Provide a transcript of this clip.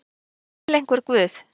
er til einhver guð